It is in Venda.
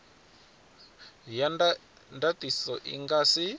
ya ndatiso i nga si